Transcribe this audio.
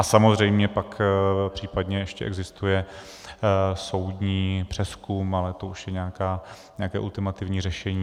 A samozřejmě pak případně ještě existuje soudní přezkum, ale to už je nějaké ultimativní řešení.